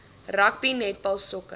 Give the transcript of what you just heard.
rugby netbal sokker